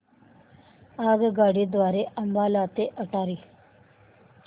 आगगाडी द्वारे अंबाला ते अटारी